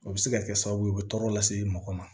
O bɛ se ka kɛ sababu ye o bɛ tɔɔrɔ lase mɔgɔ ma